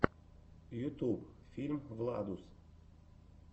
ютуб фильм владус